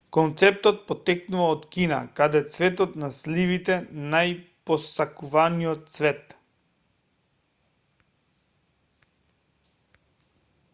концептот потекнува од кина каде цветот на сливите најпосакуваниот цвет